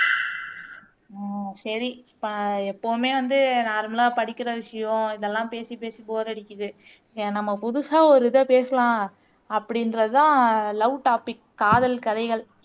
ஆஹ் சரி இப்ப எப்பவுமே வந்து நார்மலா படிக்கிற விஷயம் இதெல்லாம் பேசி பேசி போர் அடிக்குது ஏன் நம்ம புதுசா ஒரு இதை பேசலாம் அப்படின்றது தான் லவ் டாபிக் காதல் கதைகள்